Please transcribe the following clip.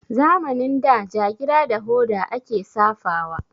Zamanin da jagira da hoda a ke safawa